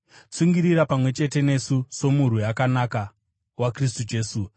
Tsungirira pamwe chete nesu somurwi akanaka waKristu Jesu.